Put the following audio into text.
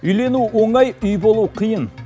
үйлену оңай үй болу қиын